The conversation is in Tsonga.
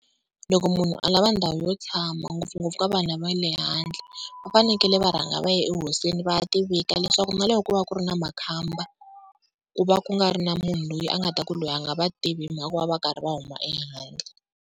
Loko munhu a lava ndhawu yo tshama ngopfungopfu ka vanhu lava va le handle va fanekele va rhanga va ya ehosini va ya tivika, leswaku na loko ko va ku ri na makhamba ku va ku nga ri na munhu loyi a nga ta ku loyi a nga va tivi hi mhaka ku va va karhi va huma ehandle.